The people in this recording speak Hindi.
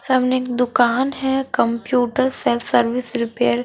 सामने एक दुकान है कंप्यूटर सेल्फ सर्विस रिपेयर ।